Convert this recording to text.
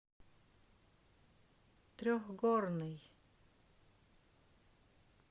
трехгорный